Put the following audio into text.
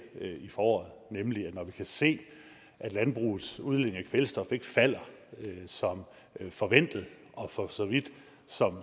i foråret nemlig at når vi kan se at landbrugets udledning af kvælstof ikke falder som forventet og for så vidt